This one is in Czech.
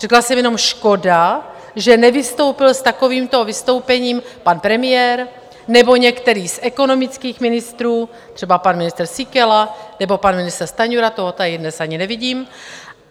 Řekla jsem jenom škoda, že nevystoupil s takovýmto vystoupením pan premiér nebo některý z ekonomických ministrů, třeba pan ministr Síkela nebo pan ministr Stanjura, toho tady dnes ani nevidím.